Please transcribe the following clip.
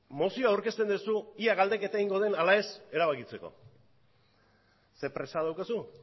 mozioa aurkezten duzu ea galdeketa egingo den edo ez erabakitzeko zer presa daukazu